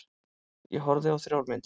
Ég horfði á þrjár myndir.